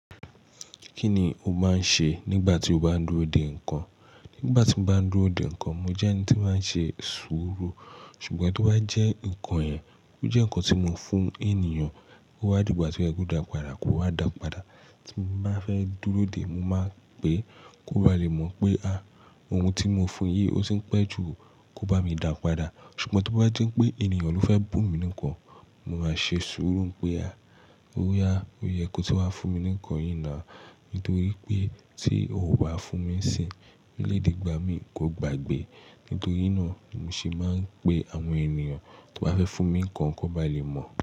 Kí ni o máa ń ṣe nígbà tí o bá ń dúró dè nǹkan? Nígbà tí mo bá ń dúró dè nǹkan, mo jẹ́ ẹni tí máa ń ṣe sùúrù. Ṣùgbọ́n tí ó bá jẹ́ nǹkan yẹn, ó jẹ́ nǹkan tí mo fún ènìyàn, ó wá dìgbà, tí ó yẹ kó dà padà kó wá dà padà. Tí mo bá fẹ́ dúró dè, mo máa ń pe kó ba lè mọ̀ pé, à, ohun tí mo fún un yìí ó ti ń pẹ́ jù, kó bá mi dà padà. Ṣùgbọ́n tí ó bá jẹ́ pé ènìyàn ló fẹ́ bùn mi ní nǹkan, mo máa ṣe sùúrù pé, à, ó yẹ kó ti wá fún mi ní nǹkan yìí náà, nítorí pé tí o kò bá fún mi nísinyi, ó lè dìgbà mí kò gbàgbé. Nítorí náà ni mí ṣe máa ń pe àwọn ènìyàn tí ó bá fẹ́ fún mi ní nǹkan kó ba lè mọ̀.